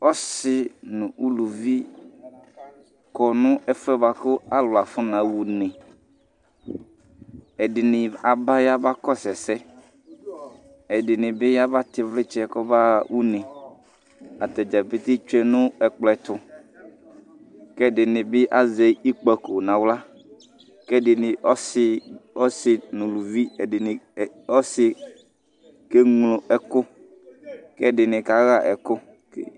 Ɔsi nu uluvi kɔ nu ɛfu yɛ bua ku alu afɔnaɣa une Ɛdini aba yabakɔsu ɛsɛ Ɛdini bi yabatɛ ivlitsɛ kɔbaɣa une Atadza pete tsue nu ɛkplɔ yɛ ɛtu Ku ɛdini bi azɛ ikpako nu aɣla Ku ɛdini ɔsi nu uluvi ɔsi keŋlo ɛku ku ɛdini kaɣa ɛku